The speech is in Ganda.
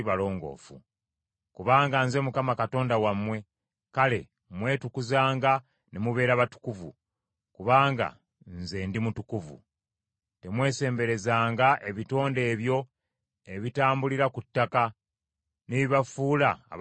Kubanga Nze Mukama Katonda wammwe, kale mwetukuzanga ne mubeera batukuvu, kubanga Nze ndi mutukuvu. Temwesemberezanga ebitonde ebyo ebitambulira ku ttaka ne bibafuula abatali balongoofu.